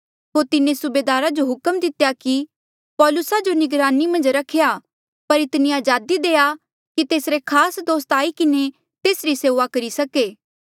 होर तिन्हें सूबेदारा जो हुक्म दितेया कि पौलुसा जो निगरानी मन्झ रख्या पर इतनी अजादी देआ की तेसरे खास दोस्त आई किन्हें तेसरी सेऊआ करी सके